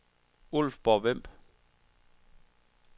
Ulfborg-Vemb